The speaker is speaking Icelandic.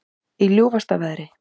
Í ljúfasta veðri